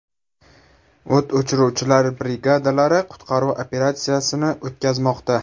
O‘t o‘chiruvchilar brigadalari qutqaruv operatsiyasini o‘tkazmoqda.